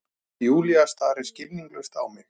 Júlía starir skilningslaus á mig.